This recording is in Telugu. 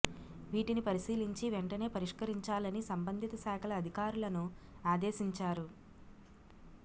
వీటిని పరిశీలించి వెంటనే పరిష్కరించాలని సంబంధిత శాకల అధికారులను ఆదేశించారు